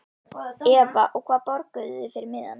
Eva: Og hvað borguðuð þið fyrir miðann?